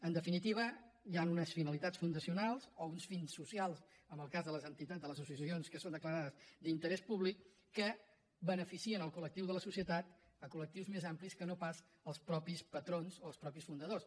en definitiva hi han unes finalitats fundacionals o uns fins socials en el cas de les entitats de les associacions que són declarades d’interès públic que beneficien el col·lectiu de la societat colque no pas els mateixos patrons o els mateixos fundadors